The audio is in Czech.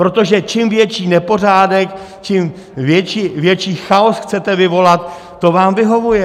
Protože čím větší nepořádek, tím větší chaos chcete vyvolat, to vám vyhovuje.